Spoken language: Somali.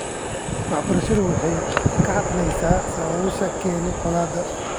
Waxbarashadu waxay ka hadlaysaa sababaha keenay colaadaha .